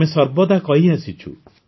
ଆମେ ସର୍ବଦା କହିଆସିଛୁ